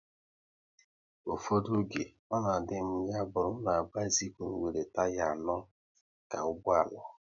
Ụfọdụ oge, ọ na adị m ya bụrụ na bisikul nwere taya anọ ka ụgbọala